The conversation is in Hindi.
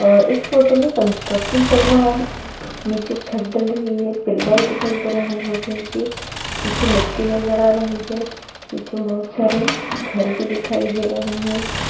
अ इस फोटो में कंस्ट्रक्शन चल रहा है नीचे छत डल रही है पिलर दिखाई दे रहे हैं वो क्या है कि पीछे मिट्टी भी नजर आ रही है पीछे बहोत सारे घर भी दिखाई दे रहे हैं।